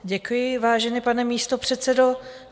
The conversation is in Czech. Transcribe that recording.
Děkuji, vážený pane místopředsedo.